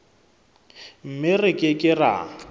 mme re ke ke ra